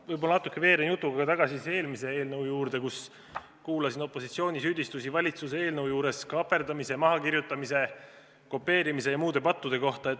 Ma võib-olla natuke veeren jutuga tagasi eelmise eelnõu juurde, kui kuulasin valitsuse eelnõu arutelul opositsiooni süüdistusi kaaperdamise, mahakirjutamise, kopeerimise ja muude pattude kohta.